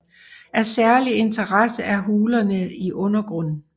Af særlig interesse er hulerne i undergrunden